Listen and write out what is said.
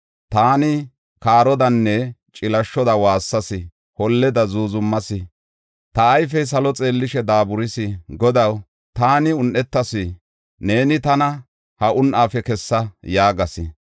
Taani kaarodanne cilashoda waassas; holleda zuuzumas. Ta ayfey salo xeellishe daaburis; Godaw, taani un7etas; neeni tana ha un7aafe kessa” yaagas.